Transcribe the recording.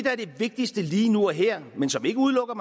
vigtigste lige nu og her men som ikke udelukker